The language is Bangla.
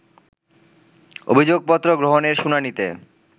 অভিযোগপত্র গ্রহণের শুনানিতে